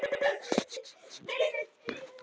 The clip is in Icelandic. Hvað fannst þér um þau svör sem að Sigmundur gaf í dag?